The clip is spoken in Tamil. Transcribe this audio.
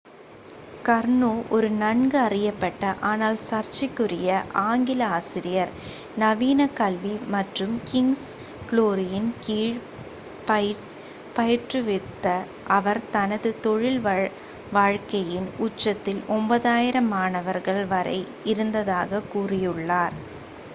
கர்னோ ஒரு நன்கு அறியப்பட்ட ஆனால் சர்ச்சைக்குரிய ஆங்கில ஆசிரியர் நவீன கல்வி மற்றும் கிங்'ஸ் குளோரியின் கீழ் பயிற்றுவித்த அவர் தனது தொழில் வாழ்க்கையின் உச்சத்தில் 9,000 மாணவர்கள் வரை இருந்ததாகக் கூறியுள்ளார்